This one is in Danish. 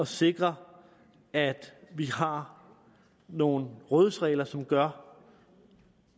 sikre at vi har nogle rådighedsregler som gør